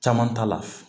Caman t'a la